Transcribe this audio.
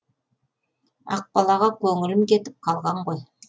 ақбалаға көңілім кетіп қалған ғой